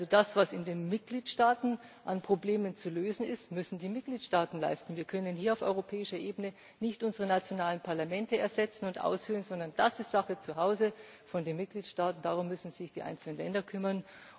Das, was in den Mitgliedstaaten an Problemen zu lösen ist, müssen die Mitgliedstaaten leisten. Wir können hier auf europäischer Ebene nicht unsere nationalen Parlamente ersetzen und aushöhlen, sondern das ist Sache der Mitgliedstaaten, darum müssen sich die einzelnen Länder kümmern.